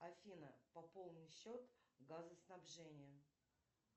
афина пополни счет газоснабжения